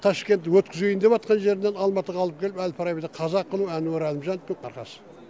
ташкент өткізейін деватқан жерінен алматыға алып келіп әл фарабиді қазақ қылу әнуар әлімжановтың арқасы